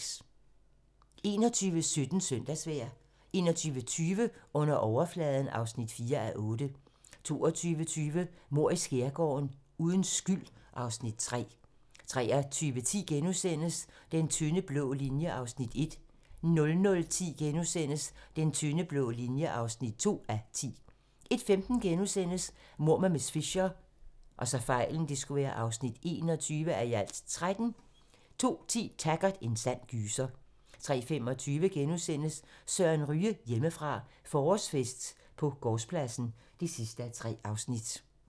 21:17: Søndagsvejr 21:20: Under overfladen (4:8) 22:20: Mord i skærgården: Uden skyld (Afs. 3) 23:10: Den tynde blå linje (1:10)* 00:10: Den tynde blå linje (2:10)* 01:15: Mord med miss Fisher (21:13)* 02:10: Taggart: En sand gyser 03:25: Søren Ryge: Hjemmefra - forårsfest på gårdspladsen (3:3)*